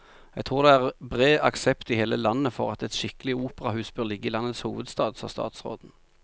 Jeg tror det er bred aksept i hele landet for at et skikkelig operahus bør ligge i landets hovedstad, sa statsråden.